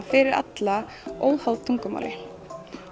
fyrir alla óháð tungumáli